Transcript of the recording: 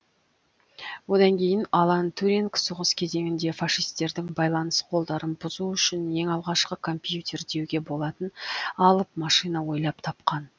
одан кейін алан туринг соғыс кезеңінде фашисттердің байланыс коддарын бұзу үшін ең алғашқы компьютер деуге болатын алып машина ойлап тапқан